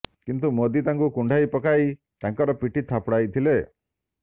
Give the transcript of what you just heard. କିନ୍ତୁ ମୋଦି ତାଙ୍କୁ କୁଣ୍ଢାଇ ପକାଇ ତାଙ୍କର ପିଠି ଥାପୁଡାଇଥିଲେ